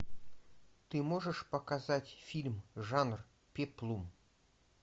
ты можешь показать фильм жанр пеплум